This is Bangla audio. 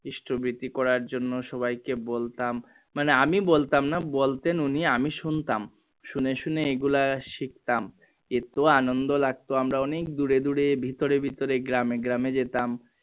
কৃষ্ট বৃর্তি করার জন্য সবাই কে বলতাম মানে আমি বলতাম না বলতেন উনি আমি শুনতাম শুনে শুনে এইগুলা শিখতাম এতো আনন্দ লাগতো আমরা অনেক দূরে দূরে ভিতরে ভিতরে গ্রামে গ্রামে যেতাম।